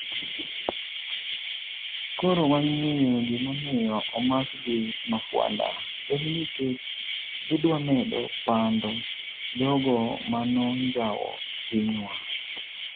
" koro wang'eyo gimomiyo omakgi mafwanda, en nikech gidwamedo pando jogo manonjawo pinywa"